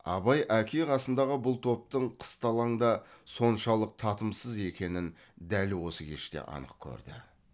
абай әке қасындағы бұл топтың қысталаңда соншалық татымсыз екенін дәл осы кеште анық көрді